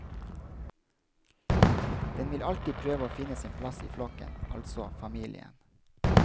Den vil alltid prøve å finne sin plass i flokken, altså familien.